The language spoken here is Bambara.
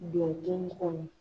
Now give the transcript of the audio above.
Don kɔnɔ.